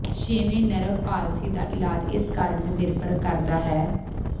ਛੇਵੇਂ nerve palsy ਦਾ ਇਲਾਜ ਇਸ ਕਾਰਨ ਤੇ ਨਿਰਭਰ ਕਰਦਾ ਹੈ